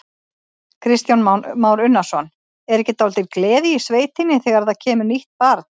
Kristján Már Unnarsson: Er ekki dálítil gleði í sveitinni þegar það kemur nýtt barn?